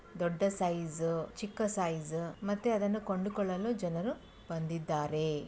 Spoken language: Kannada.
ದೊಡ್ಡ ಸೈಜು ಚಿಕ್ಕ ಸೈಜು ಮತ್ತೆ ಅದನ್ನು ಕೊಂಡುಕೊಳ್ಳಲು ಜನರು ಬಂದಿದ್ದಾರೆ.